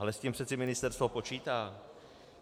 Ale s tím přece ministerstvo počítá.